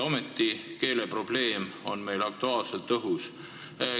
Ometi on keeleprobleem meil aktuaalselt õhus.